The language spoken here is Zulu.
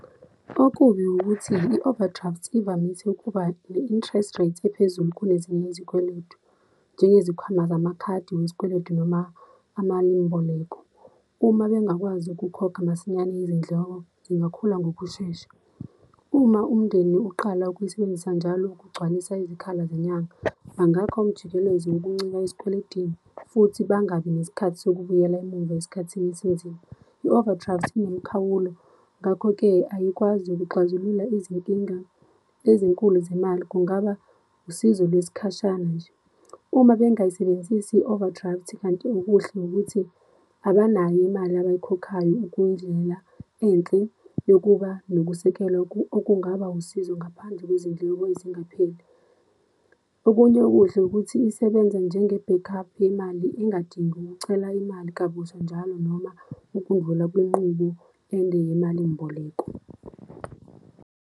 Okubi ukuthi i-overdraft ivamise ukuba ne-interest rate ephezulu, kunezinye izikweletu, njengezikhwama zamakhadi wesikweletu noma amalimboleko. Uma bengakwazi ukukhokha masinyane, izindleko zingakhula ngokushesha. Uma umndeni uqala ukuyisebenzisa njalo ukugcwalisa izikhala zenyanga, bangakha umjikelezo yokuncika esikweletini, futhi bangabi nesikhathi zokubuyela emumva esikhathini esinzima. I-overdraft inemikhawulo, ngakho-ke ayikwazi okuxazulula izinkinga ezinkulu zemali, kungaba usizo lwesikhashana nje uma bengayisebenzisi i-overdraft. Kanti okuhle ukuthi abanayo imali abayikhokhayo okuyindlela enhle yokuba nokusekelwa okungaba usizo ngaphandle kwezindleko ezingapheli. Okunye okuhle, ukuthi isebenza njenge-back up yemali engadingi ukucela imali kabusha njalo, noma ukundlula kwinqubo ende yemalimboleko.